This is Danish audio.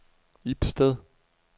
Ibsted